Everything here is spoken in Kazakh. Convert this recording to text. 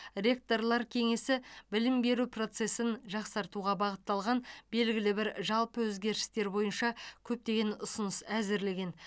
ректорлар кеңесі білім беру процесін жақсартуға бағытталған белгілі бір жалпы өзгерістер бойынша көптеген ұсыныс әзірлеген